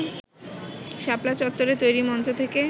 শাপলা চত্বরে তৈরি মঞ্চ থেকে